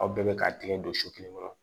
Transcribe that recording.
Aw bɛɛ bɛ k'a tigɛ don so kelen kɔnɔ